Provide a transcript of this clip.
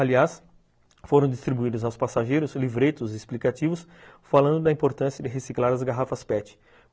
Aliás, foram distribuídos aos passageiros livretos explicativos falando da importância de reciclar as garrafas pete.